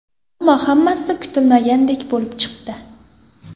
Ammo hammasi kutilmagandek bo‘lib chiqdi.